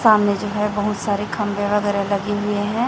सामने जो हैं बहुत सारे खंभे वगैरा लगे हुए हैं।